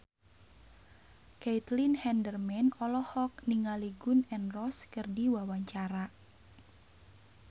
Caitlin Halderman olohok ningali Gun N Roses keur diwawancara